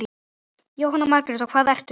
Jóhanna Margrét: Og hvað ertu?